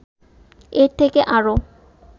এর থেকে আরও